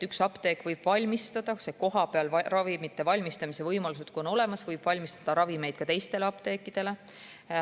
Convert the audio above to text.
Üks apteek võib – kui kohapeal on ravimite valmistamise võimalused olemas – valmistada ravimeid ka teistele apteekidele.